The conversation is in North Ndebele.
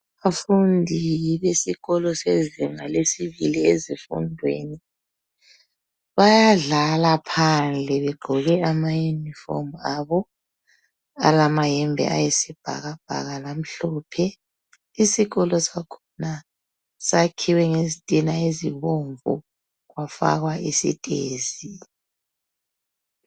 Abafundi besikolo sezinga lesibili ezifundweni bayadlala phandle begqoke amayunifomu abo alamayembe ayisibhakabhaka lamhlophe isikolo sakhona sakhiwe ngezitina ezibomvu kwafakwa isitezi.